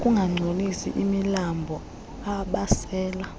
ukungangcolisi imilambo abasela